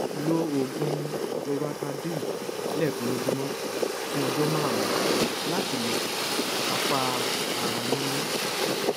lo oògùn loratadine lẹẹkan lójúmọ fún ọjọ márùnún láti lè kápá ara yúnyún